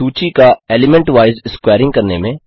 सूची का element wise squaring करने में